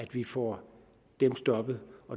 vi får dem stoppet